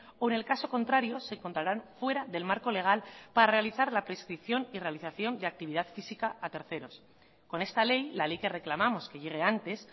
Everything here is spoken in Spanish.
o en el caso contrario se contaran fuera del marco legal para realizar la prescripción y realización de actividad física a terceros con esta ley la ley que reclamamos que llegue antes